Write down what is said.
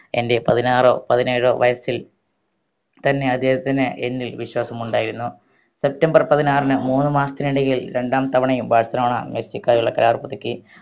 എന്റെ പതിനാറോ പതിനേഴോ വയസ്സിൽ തന്നെ അദ്ദേഹത്തിന് എന്നിൽ വിശ്വാസം ഉണ്ടായിരുന്നു സെപ്തംബർ പതിനാറിന് മൂന്ന് മാസത്തിനിടയിൽ രണ്ടാം തവണയും ബാഴ്‌സലോണ മെസ്സിക്കായുള്ള കരാർ പുതുക്കി